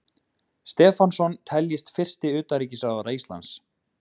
Stefánsson teljist fyrsti utanríkisráðherra Íslands.